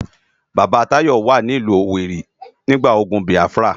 Baba Tayo wá ni ilù Owéri nigbá ógùn Biáfirá